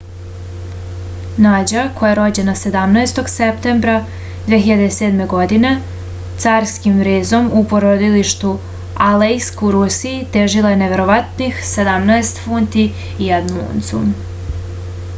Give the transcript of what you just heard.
nađa koja je rođena 17. septembra 2007. godine carskim rezom u porodilištu alejsk u rusiji težila je neverovatnih 17 funti i 1 uncu